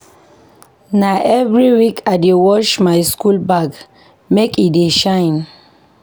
Na every week I dey wash my school bag make e dey shine.